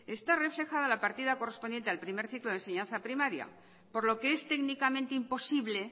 está reflejada la partida correspondiente al primer ciclo de enseñanza primaria por lo que es técnicamente imposible